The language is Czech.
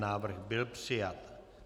Návrh byl přijat.